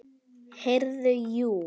Heyrðu, jú.